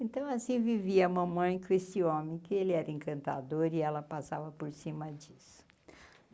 Então, assim, vivia mamãe com esse homem, que ele era encantador e ela passava por cima disso.